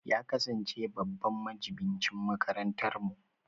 Ya kasance babban majibincin makarantarmu